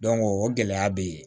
o gɛlɛya bɛ yen